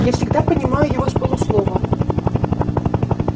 я всегда понимаю его с полуслова